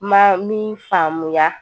Ma min faamuya